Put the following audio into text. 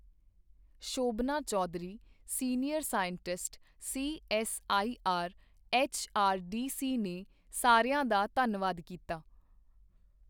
Shobhna Chaudhary, senior scientist, CSIR HRDC ਨੇ ਸਾਰਿਆਂ ਦਾ ਧੰਨਵਾਦ ਕੀਤਾ।